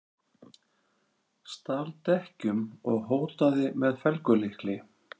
Stal dekkjum og hótaði með felgulykli